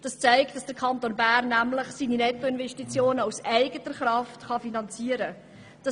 Das zeigt, dass der Kanton Bern seine Nettoinvestitionen aus eigener Kraft finanzieren kann.